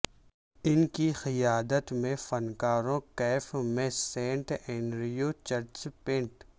ان کی قیادت میں فنکاروں کیف میں سینٹ اینڈریو چرچ پینٹ